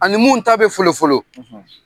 Ani mun ta bɛ folo folo